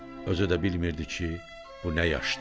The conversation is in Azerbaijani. Özü də bilmirdi ki, bu nə yaşdır.